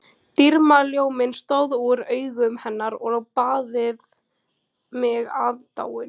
Dýrðarljóminn stóð úr augum hennar og baðaði mig aðdáun